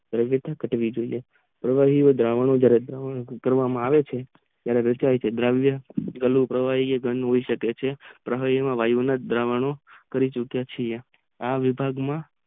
પ્રવાહી એ દ્રાવણો માં કરવમાં આવે છે ત્યારે વેચાય છે દ્રાવ્ય ઘરનું પ્રવાહી એ ગંદુ હોય શકે છે પ્રવાહી માં વાયુ ના દ્રાવણો કરી ચૂકયા છીએ આ વિભાગ માં